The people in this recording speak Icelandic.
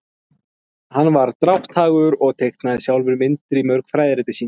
hann var drátthagur og teiknaði sjálfur myndir í mörg fræðirit sín